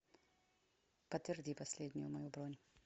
подтверди последнюю мою бронь